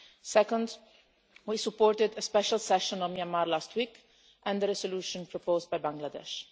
Second, we supported a special session on Myanmar last week and the resolution proposed by Bangladesh.